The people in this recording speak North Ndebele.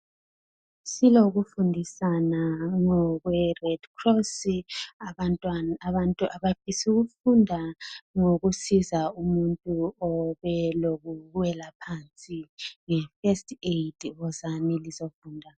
Silokufundisana ngokweRedcross. Abantu abafisa ukufunda ngokusiza umuntu obelokuwela phansi nge First Aid wozani lizofunda.